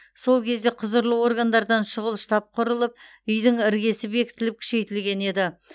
сол кезде құзырлы органдардан шұғыл штаб құрылып үйдің іргесі бекітіліп күшейтілген еді